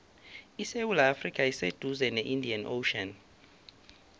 isewula afrika iseduze ne indian ocean